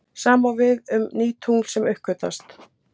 Sama á oft við um ný tungl sem uppgötvast.